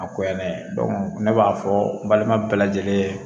A ko yan dɛ ne b'a fɔ n balima bɛɛ lajɛlen